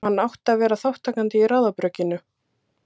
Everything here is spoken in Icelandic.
Og hann átti að vera þátttakandi í ráðabrugginu.